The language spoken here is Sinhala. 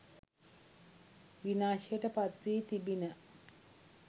විනාශයට පත් වී තිබිණ.